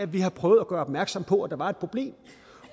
vi har prøvet at gøre opmærksom på at der var et problem